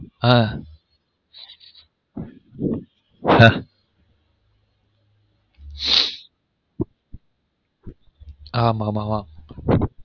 ஹ ஹ ஆமா